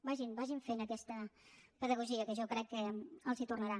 vagin vagin fent aquesta pedagogia que jo crec que els ho tornaran